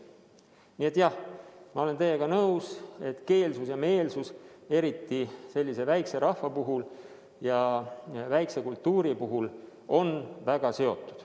Nii et jah, ma olen teiega nõus, et keelsus ja meelsus, eriti sellise väikese rahva ja väikese kultuuri puhul, on väga seotud.